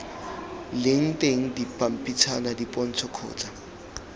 leng teng dipampitshana dipontsho kgotsa